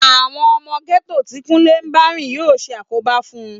Àwọn ọmọ gẹ́tò tí Kúnlé ń bá rìn yóò ṣàkóbá fún